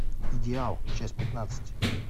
идеал часть пятнадцать